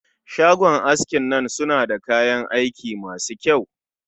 Shagon askin nan suna da kayan aiki masu kyau